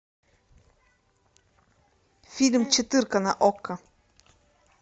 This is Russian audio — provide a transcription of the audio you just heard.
фильм четырка на окко